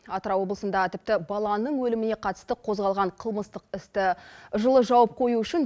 атырау облысында тіпті баланың өліміне қатысты қозғалған қылмыстық істі жылы жауып қою үшін